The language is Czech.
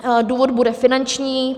Důvod bude finanční.